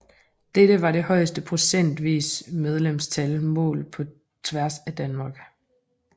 Dette var det højeste procentvise medlemstal målt på tværs af Danmark